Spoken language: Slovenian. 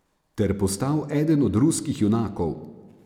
Ter postal eden od ruskih junakov.